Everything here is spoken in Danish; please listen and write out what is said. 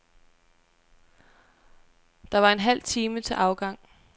Der var en halv time til afgang.